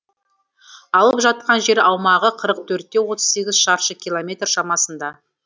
алып жатқан жер аумағы қырық төртте отыз сегіз шаршы километр шамасында